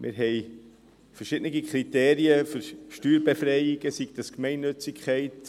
Wir haben verschiedene Kriterien für die Steuerbefreiung, wie etwa die Gemeinnützigkeit.